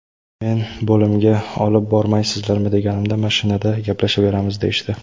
Men bo‘limga olib bormaysizlarmi deganimda, mashinada gaplashaveramiz, deyishdi.